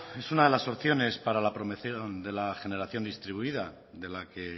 es una de las opciones para la promoción de la generación distribuida de la que